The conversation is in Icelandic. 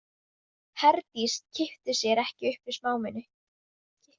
Herdís kippti sér ekki upp við smámuni.